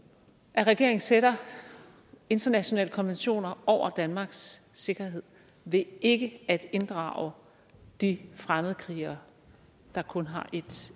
at regeringen sætter internationale konventioner over danmarks sikkerhed ved ikke at inddrage de fremmedkrigere der kun har et